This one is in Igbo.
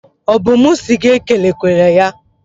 Ọ bụ mụ si gị ekelekwere ya?